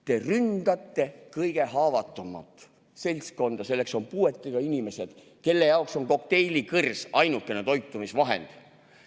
Te ründate kõige haavatavamat seltskonda, puuetega inimesi, kelle jaoks on kokteilikõrs ainukene toitumisvahend.